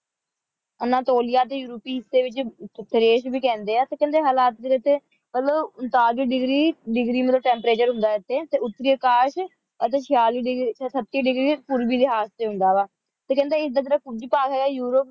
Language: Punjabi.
ਅਨਾਤੋਲਿਆ ਟੀ ਯੂਰੋਪੀ ਹਿਸ੍ਯ ਵਿਉਚ ਤਰਾਸ਼ ਵੇ ਕੇਹੰਡੀ ਆ ਕੇਹੰਡੀ ਹਾਲਤ ਵੇ ਇਥੀ ਮਤਲਬ ਉਨ੍ਤਾਲਿਸ degree ਮਤਲਬ temperature ਹੁੰਦਾ ਇਥੀ ਟੀ ਉਤ੍ਰਿਆਕਾਸ਼ ਅਤੀ ਚਿਯਾਲਿਸ degree ਆਂ thirty degree ਲਿਹਾਜ਼ ਵਿਚ ਹੁੰਦਾ ਵ ਟੀ ਕੇਹੰਡੀ ਜੋ ਹੈ ਯੂਰੋਪ